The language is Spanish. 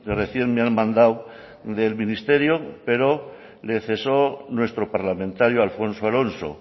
recién me han mandado del ministerio pero le cesó nuestro parlamentario alfonso alonso